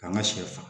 An ka sɛ fa